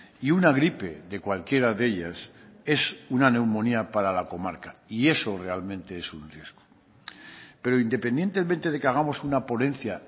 y una gripe de cualquiera de ellas es una neumonía para la comarca y eso realmente es un riesgo pero independientemente de que hagamos una ponencia